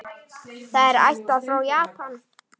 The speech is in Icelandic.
Það er ættað frá Japan.